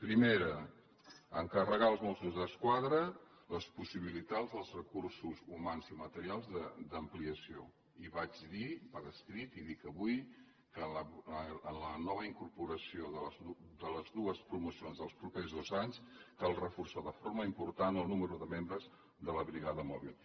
primera encarregar als mossos d’esquadra les possibilitats dels recursos humans i materials d’ampliació i ho vaig dir per escrit i dic avui que amb la nova incorporació de les dues promocions dels propers dos anys cal reforçar de forma important el nombre de membres de la brigada mòbil